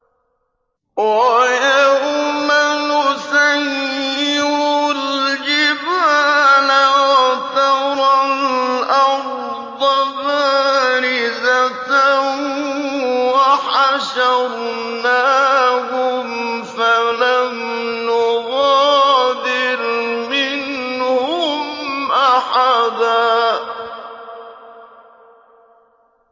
وَيَوْمَ نُسَيِّرُ الْجِبَالَ وَتَرَى الْأَرْضَ بَارِزَةً وَحَشَرْنَاهُمْ فَلَمْ نُغَادِرْ مِنْهُمْ أَحَدًا